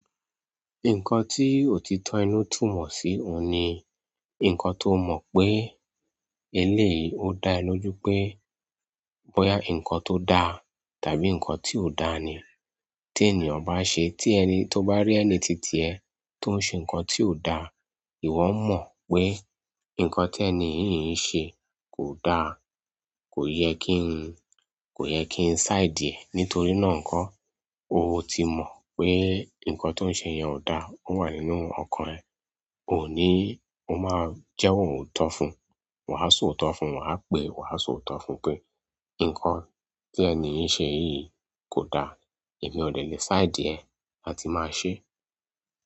Nǹkan tí òtítọ́ inú túmọ̀ sí òun ni, nǹkan tó mọ̀ pé eléyí ó dá ẹ lójú pé, bóyá nǹkan tó da tàbí nǹkan tí ò da ni tí ènìyàn bá ṣe. Tí ẹni tó bá rí ẹni titiẹ́ tó ń ṣe nǹkan tí ò da, ìwọ mọ̀ pé nǹkan tí ẹni yìí n ṣe kò da. Kò yẹ kí n side ẹ. Nítorí náà nkọ́, o ti mọ̀ pé nǹkan tó ń ṣe yẹn ò da, ó wà nínú ọkàn ẹ. Òun ní ó máa jẹ́wo òotó fún. Wàá so òótọ́ fún, wà á pè, wà á so òótọ́ fún pé nǹkan tí ẹni yìí ṣe yìí kò da. Emí ọ̀ dẹ̀ le side ẹ láti máa ṣe.